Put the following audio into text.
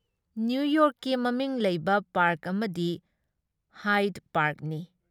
ꯅꯤꯌꯨꯌꯣꯔꯛꯀꯤ ꯃꯃꯤꯡ ꯂꯩꯕ ꯄꯥꯔꯛ ꯑꯃꯗꯤ ꯍꯥꯏꯗ ꯄꯥꯔꯛꯅꯤ ꯫